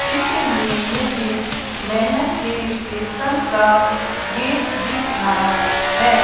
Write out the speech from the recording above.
चित्र में मुझे मैहर के स्टेशन का गेट दिख रहा है।